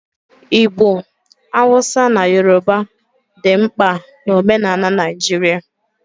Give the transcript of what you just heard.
Igbo, Hausa na Yoruba dị mkpa na omenala Naijiria